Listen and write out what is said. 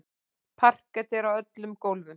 Parket er á öllum gólfum.